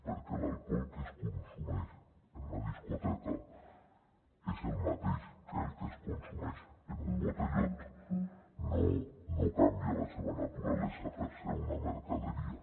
perquè l’alcohol que es consumeix en una discoteca és el mateix que el que es consumeix en un botellot no canvia la seva naturalesa per ser una mercaderia